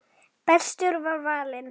Bestur var valinn.